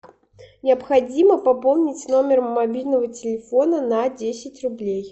необходимо пополнить номер мобильного телефона на десять рублей